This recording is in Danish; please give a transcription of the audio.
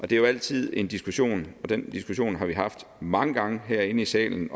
det er jo altid en diskussion og den diskussion har vi haft mange gange herinde i salen